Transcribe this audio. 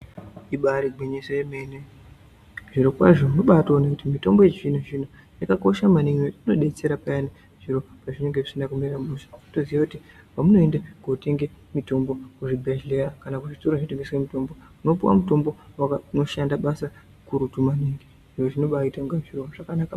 Ibari gwinyiso yemene zvirokwazvo unobatoone kuti mitombo yechizvino-zvino yakakosha maningi inodetsera payani zviro zvinonga zvisina kumira mushe. Motoziye kuti pamunoende kotenge mitombo kuzvibhedhleya kana kuzvitoro zvinotengeswe mitombo unopuwa mutombo unoshanda basa kurutu maningi. Izvinobaite kunge zviro zvakanaka maningi.